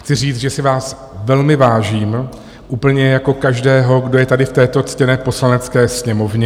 Chci říct, že si vás velmi vážím, úplně jako každého, kdo je tady v této ctěné Poslanecké sněmovně.